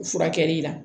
Furakɛli la